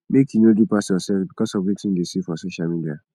make you no do pass yoursef because of wetin you dey see for social media